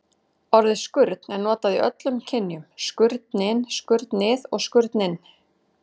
Orðið skurn er notað í öllum kynjum: skurnin, skurnið og skurninn.